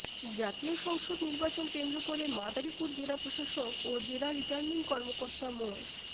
জাতীয় সংসদ নির্বাচন কেন্দ্র করে মাদারীপুর জেলা প্রশাসক ও জেলা রিটার্নিং কর্মকর্তা মো